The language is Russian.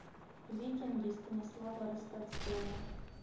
викинги станислава ростоцкого